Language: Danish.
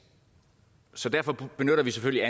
så derfor benytter vi selvfølgelig